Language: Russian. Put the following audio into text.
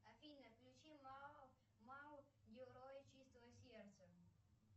афина включи мао мао герои чистого сердца